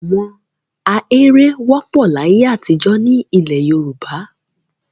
Àwọn ahéré wọ́pọ̀ láyé àtijọ́ nílẹ̀ Yorùbá.